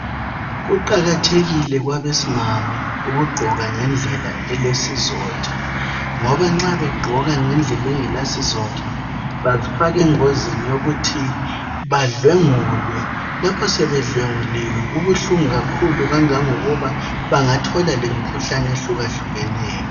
Kuqakathekile kubomami ukugqoka ngendlela elesizotha ngoba nxa begqoka ngendlela engelasizotha bazifaka engozini yokuba badlwengulwe lapho sebedlenguliwe kubuhlungu kakhulu ngoba bengathola lemikhuhlane ehlukahlukeneyo.